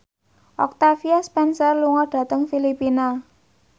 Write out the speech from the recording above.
Octavia Spencer lunga dhateng Filipina